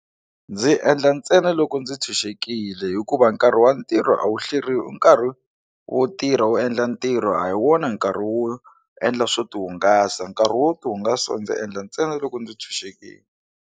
Ndzi endla ntsena loko ndzi tshunxekile hikuva nkarhi wa ntirho a wu hleriwi nkarhi wo tirha wu endla ntirho a hi wona nkarhi wo endla swo tihungasa nkarhi wo tihungasa ndzi endla ntsena loko ndzi tshunxekile.